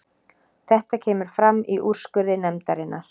Þetta kemur fram í úrskurði nefndarinnar